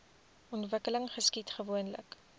ontwikkeling geskied gewoonlik